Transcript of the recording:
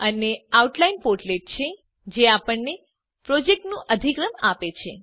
અને outline portlet જે આપણને પ્રોજેક્ટનું અધિક્રમ આપે છે